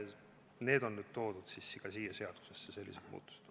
Need on toodud ka siia seadusesse, sellised muudatused.